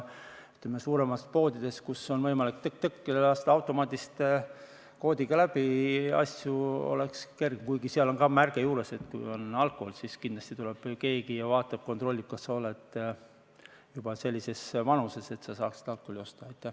Ütleme, suuremas poodides, kus on võimalik tõk-tõk lasta asju automaadist koodiga läbi, on kergem, kuigi seal on ka märge juures, et kui on alkohol, siis kindlasti tuleb keegi ja vaatab-kontrollib, kas sa oled juba sellises vanuses, et sa saaksid alkoholi osta.